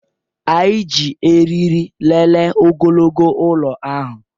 Anyị ji eriri lelee ogologo ụlọ ahụ